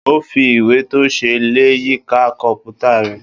Ó fi ìwé tó ṣe é lẹ̀ yíká kọ́m̀púta rẹ̀.